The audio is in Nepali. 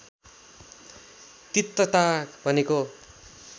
तिक्तता भनेको